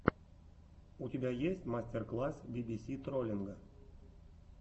у тебя есть мастер класс би си си троллинга